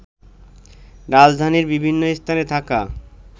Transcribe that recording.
রাজধানীর বিভিন্ন স্থানে থাকা